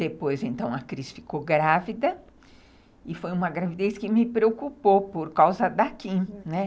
Depois, então, a Cris ficou grávida e foi uma gravidez que me preocupou por causa da Kim, né.